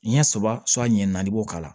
Ɲɛ saba ɲɛ naani i b'o k'ala